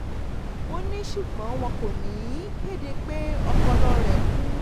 ó ní ṣùgbọ́n wọn kò ní í kéde pé ọpọlọ rẹ̀ kú